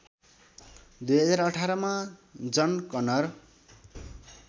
२०१८ मा जन कनर